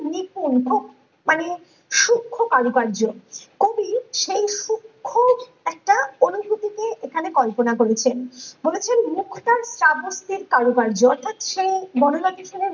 নিপুঙ্খা মানে সুক্ষ কারুকার্য কবি সেই সুক্ষ একটা অনুভূতিকে এখানে কল্পনা করেছেন বলেছেন মুখটা চাবত্তির কারুকার্য অর্থাৎ সে বনলতা সেনের